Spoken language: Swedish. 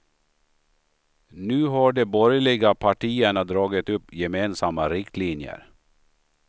Nu har de borgerliga partierna dragit upp gemensamma riktlinjer.